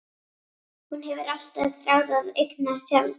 Hún hefur alltaf þráð að eignast tjald.